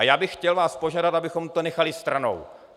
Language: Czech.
A já bych vás chtěl požádat, abychom to nechali stranou.